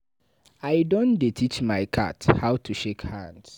I don dey teach my cat how to shake hands.